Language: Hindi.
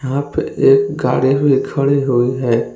यहां पे एक गाड़ी हुए खड़े हुए हैं।